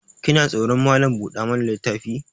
Kina tsoron Malam buɗa mana littafi?